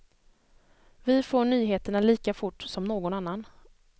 Vi får nyheterna lika fort som någon annan.